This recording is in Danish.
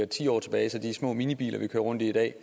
ti år tilbage de små minibiler vi kører rundt i i dag